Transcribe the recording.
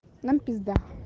нам пизда